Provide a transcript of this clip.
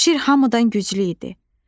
Bu şir hamıdan güclü idi.